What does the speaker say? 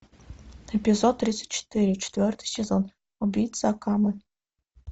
эпизод тридцать четыре четвертый сезон убийца акаме